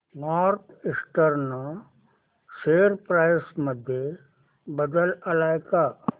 north Eastern share price मध्ये बदल आलाय का